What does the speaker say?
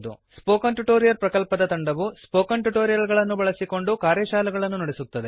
spoken tutorial ಪ್ರಕಲ್ಪದ ತಂಡವು spoken tutorials ಬಳಸಿಕೊಂಡು ಕಾರ್ಯಶಾಲೆಗಳನ್ನು ನಡೆಸುತ್ತದೆ